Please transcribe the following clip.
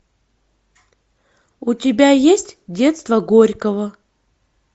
у тебя есть детство горького